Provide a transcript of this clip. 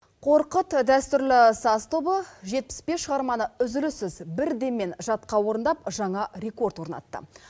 қорқыт дәстүрлі саз тобы жетпіс бес шығарманы үзіліссіз бір деммен жатқа орындап жаңа рекорд орнатты